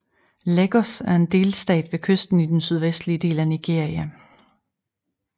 Lagos er en delstat ved kysten i den sydvestlige del af Nigeria